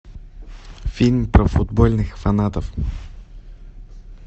фильм про футбольных фанатов